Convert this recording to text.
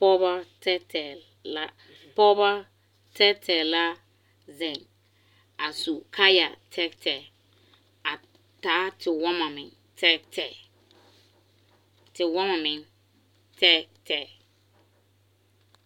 Pɔgeba tɛɛtɛɛ la pɔgeba tɛɛtɛɛ la zeŋ a su kaayatɛɛtɛɛ a taa tewɔmɔ meŋ tɛɛtɛɛ tewɔmɔ meŋ tɛɛtɛɛ.